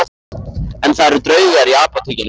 En það eru draugar í Apótekinu